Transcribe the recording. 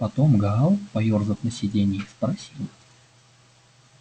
потом гаал поёрзав на сидении спросил